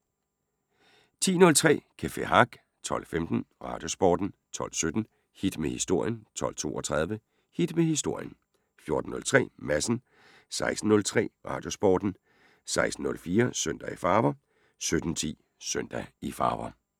10:03: Café Hack 12:15: Radiosporten 12:17: Hit med Historien 12:32: Hit med Historien 14:03: Madsen 16:03: Radiosporten 16:04: Søndag i farver 17:10: Søndag i farver